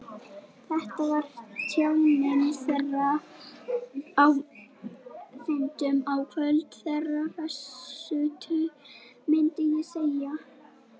Þetta var tjáning þeirra, á fundunum á kvöldin, þeirra hressustu, myndi ég segja.